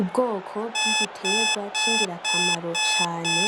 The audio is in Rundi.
Ubwoko bw'igiterwa c'ingirakamaro cane,